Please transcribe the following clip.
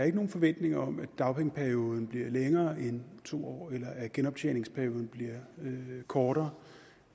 ikke nogen forventning om at dagpengeperioden bliver længere end to år eller at genoptjeningsperioden bliver kortere